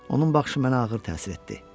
Onun baxışı mənə ağır təsir etdi.